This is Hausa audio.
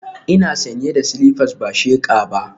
Ina sanye da silifas ba sheqa ba